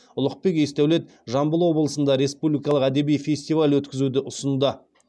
ұлықбек есдәулет жамбыл облысында республикалық әдеби фестиваль өткізуді ұсынды